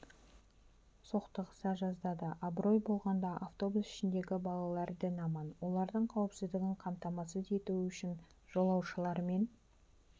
соқтығыса жаздады абырой болғанда автобус ішіндегі балалар дін аман олардың қауіпсіздігін қамтамасыз ету үшін жолаушылармен